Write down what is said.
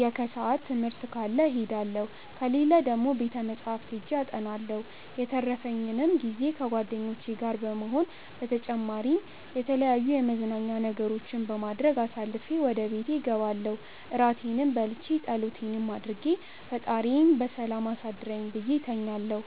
የከሰዓት ትምህርት ካለ እሄዳለሁ፣ ከሌለ ደግሞ ቤተ መፅሐፍት ሄጄ አጠናለሁ። የተረፈኝንም ጊዜ ከጓደኞቼ ጋር በመሆን በተጨማሪም የተለያዩ የመዝናኛ ነገሮችን በማድረግ አሳልፌ ወደ ቤቴ እገባለው እራቴንም በልቼ ፀሎቴንም አድርጌ ፈጣሪዬ በሰላም አሳድረኝ ብዬ እተኛለሁ።